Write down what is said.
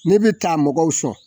Ne be taa mɔgɔw sɔn